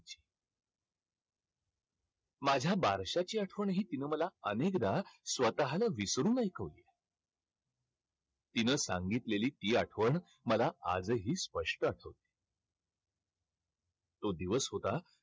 माझ्या बारशाची आठवणही तिनं मला अनेकदा स्वतःला विसरून ऐकवली. तिनं सांगितलेली ती आठवण मला आजही स्पष्ट आठवते. तो दिवस होता,